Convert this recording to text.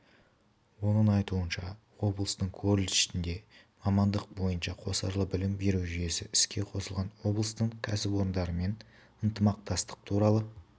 оның айтуынша облыстың колледжінде мамандық бойынша қосарлы білім беру жүйесі іске қосылған облыстың кәсіпорындарымен ынтымақтастық туралы